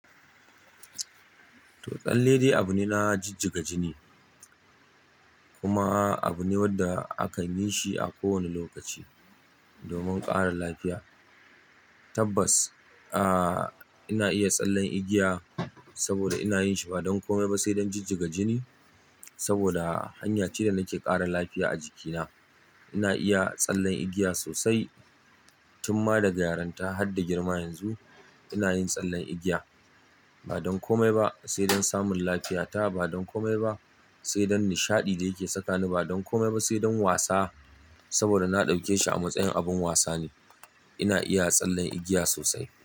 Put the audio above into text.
Tsalle dai abu ne na jijjiga jini, kuma abu ne wanda akan yi shi a kowane lokaci domin ƙara lafiya. Tabbas, ah, ina iya tsallen igiya saboda ina yin shi ba don kome ba sai don jijjiga jini saboda hanya ce da nake ƙara lafiya a jikina. Ina iya tsallen igiya sosai. Tun ma daga yaronta har da girma yanzu ina yin tsallen igiya ba don komai ba sai don samun lafiyata, ba don komai ba sai don nishaɗi da yake sakani, ba don komai ba sai don wasa. Saboda na ɗauke shi a matsayin abin wasa ne. Ina iya tsallen igiya sosai.